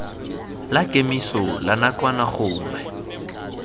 la kemiso la nakwana gongwe